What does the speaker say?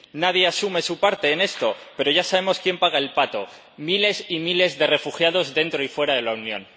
Nadie asume su parte en esto, pero ya sabemos quién paga el pato miles y miles de refugiados dentro y fuera de la Unión.